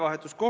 Mida?